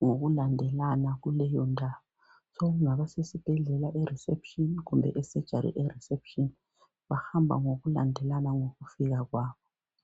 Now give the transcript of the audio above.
ngokulandelana kuleyondawo. Sokungaba sesibhedlela erisepshini, kumbe esejari erisepshini. Bahamba ngokulandelana ngokufika kwabo.